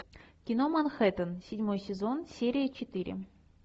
кино манхеттен седьмой сезон серия четыре